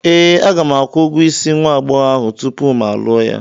Ee, aga m akwụ ụgwọ isi nwa agbọghọ ahụ tupu mụ alụọ ya.